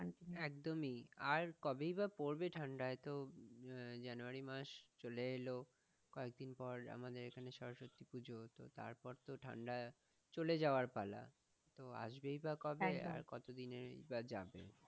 আর কবেই বা পড়বে ঠাণ্ডা এতো January মাস চলে এলো কয়েকদিন পর আমাদের এখানে সরস্বতী পূজো, তো তারপর তো ঠাণ্ডা চলে যাওয়ার পালা, তো আসবেই বা কবে আর কতদিনে বা যাবে?